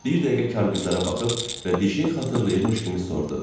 Bir dəqiqə kargüzərə baxıb və bir şey xatırlayırmış kimi sordu: